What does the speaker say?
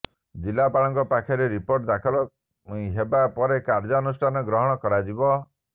ଜିଲ୍ଲାପାଳଙ୍କ ପାଖରେ ରିପୋର୍ଟ ଦାଖଲ ହେବା ପରେ କାର୍ଯ୍ୟାନୁଷ୍ଠାନ ଗ୍ରହଣ କରାଯିବ